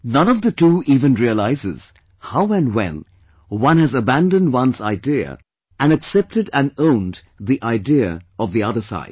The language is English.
None of the two even realizes that how and when one other's has abandoned its idea and accepted and owned the idea of the other side